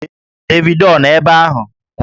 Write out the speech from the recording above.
Davido ọ nọ ebe ahụ?